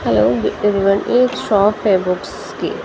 hello एक shop है books की --